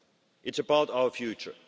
it is about our future.